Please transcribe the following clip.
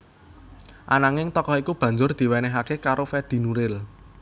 Ananging tokoh iku banjur diwenéhaké karo Fedi Nuril